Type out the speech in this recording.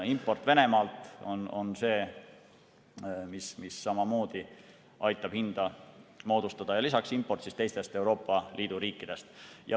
Import Venemaalt on see, mis samamoodi aitab hinda moodustada, ja lisaks import teistest Euroopa Liidu riikidest.